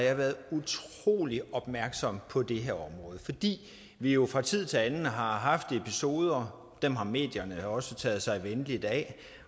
jeg været utrolig opmærksom på det her område fordi vi jo fra tid til anden har haft episoder som medierne også har taget sig venligt af